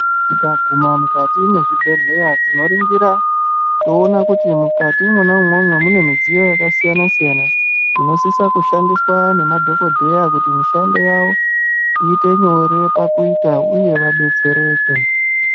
Tikaguma mukati mezvibhedhleya tinoringira toona kuti mukati mwoumwomwo mune midziyo yakasiyana siyana inosisa kushandiswa ngemadhokodheya kuti mishando yawo iite nyore pakuita uye vadetsereke.